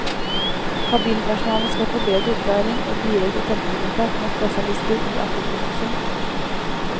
Kabinpersonalet skal få bedre opplæring og direkte telefonkontakt med spesialister i akuttmedisin.